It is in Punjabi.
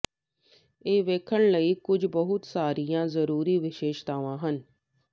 ਇਹ ਵੇਖਣ ਲਈ ਕੁਝ ਬਹੁਤ ਸਾਰੀਆਂ ਜ਼ਰੂਰੀ ਵਿਸ਼ੇਸ਼ਤਾਵਾਂ ਹਨ